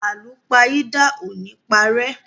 Àlúpàyídà o ni parẹ́.